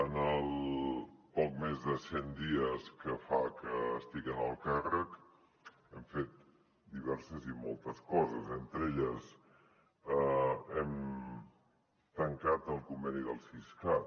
en els poc més de cent dies que fa que estic en el càrrec hem fet diverses i moltes coses entre elles hem tancat el conveni del siscat